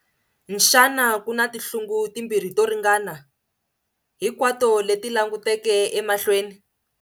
Xana ku na tinhlungu timbirhi to ringana, hinkwato leti languteke emahlweni?